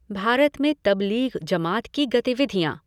भारत में तब्लीग़ जमात की गतिविधियाँ